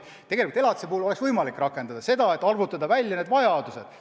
Tegelikult elatise puhul oleks võimalik rakendada arvutit, et arvutada välja konkreetsed vajadused.